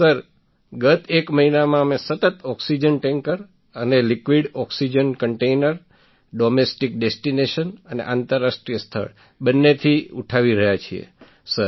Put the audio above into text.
sir ગત એક મહિનામાં અમે સતત ઑક્સિજન ટૅન્કર અને liquid oxygen container domestic destination અને આંતરરાષ્ટ્રીય સ્થળ બંનેથી ઉઠાવી રહ્યા છીએ સર